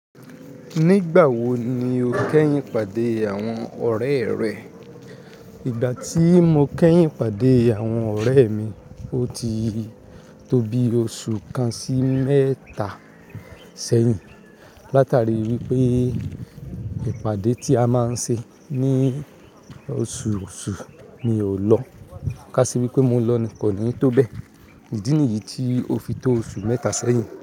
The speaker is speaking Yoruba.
Nígbà wo ni o kẹ́yìn pàdé àwọn ọ̀rẹ́ rẹ? Ìgbà tí mo kẹ́yìn pàdé àwọn ọ̀rẹ́ mi, o ti tó bi oṣù kan sí mẹ́ta ṣẹ́yìn. Látari wípé ìpàdé tí a máa ń ṣe ní oṣoọṣù mi ò lọ. Ká sì wípé mo lọ ni kò ní tó bẹ́ẹ̀. Ìdí nìyí tí o fi tó oṣù mẹ́ta ṣẹ́yìn.